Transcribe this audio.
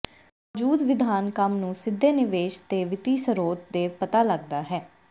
ਮੌਜੂਦਾ ਵਿਧਾਨ ਕੰਮ ਨੂੰ ਸਿੱਧੇ ਨਿਵੇਸ਼ ਦੇ ਵਿੱਤੀ ਸਰੋਤ ਦੇ ਪਤਾ ਲੱਗਦਾ ਹੈ